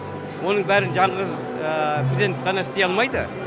оның бәрін жаңғыз президент қана істей алмайды